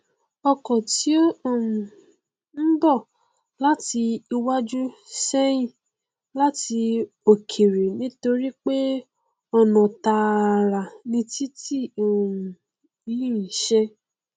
ọkọ tí ó um n bọ láti iwájú ṣeérí láti òkèrè nítorípé ọna tààrà ni titi um yìí nṣe